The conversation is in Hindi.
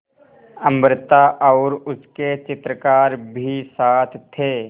अमृता और उसके चित्रकार भी साथ थे